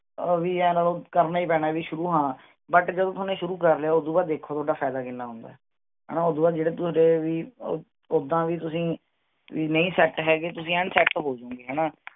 ਉਹ ਵੀ ਆਏਂ ਲਾ ਲਓ ਵੀ ਕਰਨਾ ਹੀ ਪੈਣਾ ਹੈ ਵੀ ਸ਼ੁਰੂ ਹਾਂ but ਜਦੋਂ ਤੂਹਾਨੂੰ ਸ਼ੁਰੂ ਕਰ ਲਿਆ, ਉਦੂੰ ਬਾਅਦ ਦੇਖੋ ਤੁਹਾਡਾ ਫਾਇਦਾ ਕਿੰਨਾ ਹੁੰਦਾ ਹੈ ਹਣਾ ਓਦੂੰ ਬਾਅਦ ਜਿਹੜੇ ਤੂਹਾਡੇ ਵੀ ਉੱਦਾਂ ਵੀ ਤੁਸੀਂ ਵੀ ਨਹੀਂ set ਹੈਗੇ ਤੁਸੀਂ ਐਨ set ਹੋ ਜਾਉਂਗੇ ਹਣਾ